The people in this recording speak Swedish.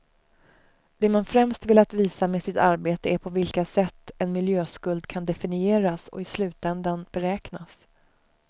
Det man främst velat visa med sitt arbete är på vilka sätt en miljöskuld kan definieras och i slutändan beräknas.